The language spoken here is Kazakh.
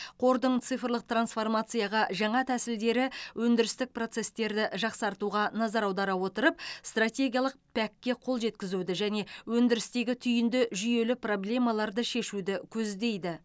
қордың цифрлық трансформацияға жаңа тәсілдері өндірістік процестерді жақсартуға назар аудара отырып стратегиялық пәк ге қол жеткізуді және өндірістегі түйінді жүйелі проблемаларды шешуді көздейді